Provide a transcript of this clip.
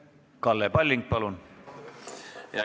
Kalle Palling, palun!